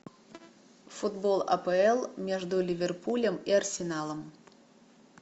футбол апл между ливерпулем и арсеналом